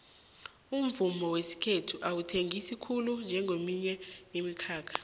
umvumo wesikhethu awuthengisi khulu njengeminye imikhakha